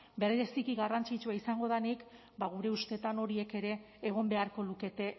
bereziki garrantzitsua izango denik ba gure ustetan horiek ere egon beharko lukete